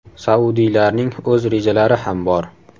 Saudiylarning o‘z rejalari ham bor.